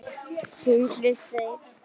Sindri Freyr.